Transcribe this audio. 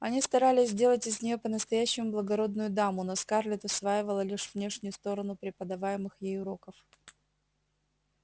они старались сделать из нее по-настоящему благородную даму но скарлетт усваивала лишь внешнюю сторону преподаваемых ей уроков